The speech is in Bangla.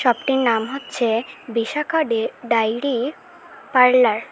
শপ -টির নাম হচ্ছে বিশাখা ডে ডাইরি পার্লার ।